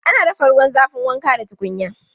Ana dafa ruwan zafin wanka da tukunya.